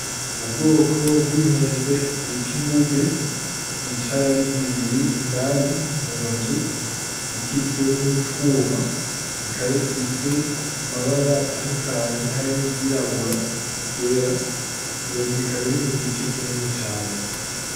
Ubwoko bw'inkende bita inguge zicaye ari zibiri indani mu nzu ikikijwe n'utwuma. Bikaba bifise amabara atandukanye harimwo iry'irabura n'iry'era. Iyo nzu ikaba irimwo igiti kinini cane.